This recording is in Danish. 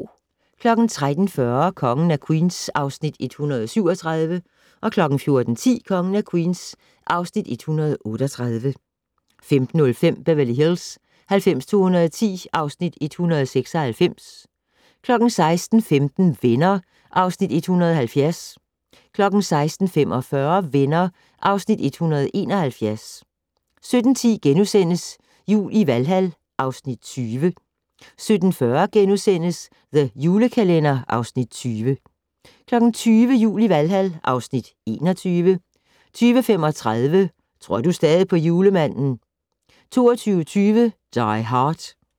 13:40: Kongen af Queens (Afs. 137) 14:10: Kongen af Queens (Afs. 138) 15:05: Beverly Hills 90210 (Afs. 196) 16:15: Venner (Afs. 170) 16:45: Venner (Afs. 171) 17:10: Jul i Valhal (Afs. 20)* 17:40: The Julekalender (Afs. 20)* 20:00: Jul i Valhal (Afs. 21) 20:35: Tror du stadig på julemanden? 22:20: Die Hard